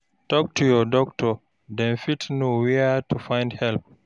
Tok to your doctor, dem fit know where to find help